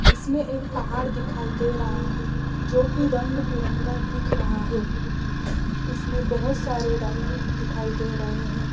इसमें एक पहाड़ दिखाई दे रहा है जो कि रंग बिरंगा दिख रहा है इसमें बहोत सारे रंग दिखाई दे रहे हैं।